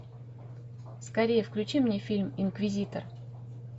скорей включи мне фильм инквизитор